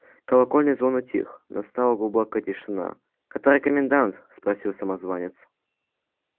колокольный звон утих настала глубокая тишина который комендант спросил самозванец